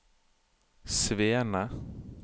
Svene